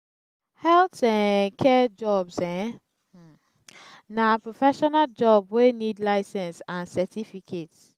health um care jobs um na professional job wey need license and cerificate